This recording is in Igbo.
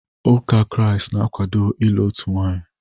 Ụka Kraịst na-akwado ịlụ otu nwaanyị.